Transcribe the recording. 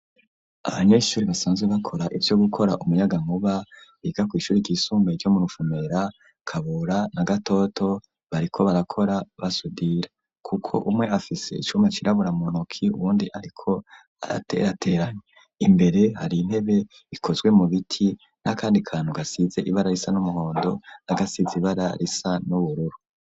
Abanyeshuri basanzwe bakora ivyo gukora umunyaga nkuba biga ku ishuri ry'isumbaye' ryo muruvumera, kabura na gatoto, bariko barakora basudira kuko umwe afise icuma cirabura mu ntoki, uwundi ariko araterateranya imbere hari intebe ikozwe mu biti n'akandi kantu gasize ibara risa n'umuhondo, n'a gasize ibara risa n'ubururu.